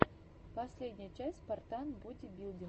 последняя часть спартан бодибилдинга